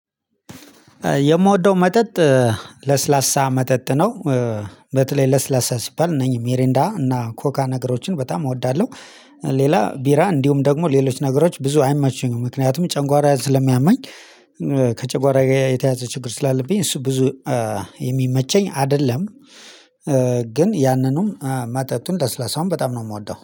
የምወደው መጠጥ ለስላሳ መጠጥ ነው። በተለይ ለስላሳ ሲባል ነኝ ሜሪንዳ እና ኮካ ነገሮችን በጣም እወዳለሁ። ሌላ ቢራ እንዲሁም ደግሞ ሌሎች ነገሮች ብዙ አይመቸኝም ምክንያቱም ጨንጓራ ስለሚያመኝ ከጨንጓራ የተያዘ ችግር ስላለብኝ እሱ ብዙ የሚመቸኝ አይደለም። ግን ያንኑን መጠጡን ለስላሳውን በጣም ነው የምወደው